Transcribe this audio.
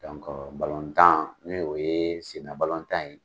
batan n'o ye senna balotan ye